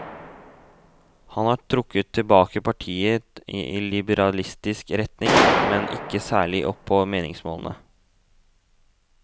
Han har trukket partiet i liberalistisk retning, men ikke særlig opp på meningsmålingene.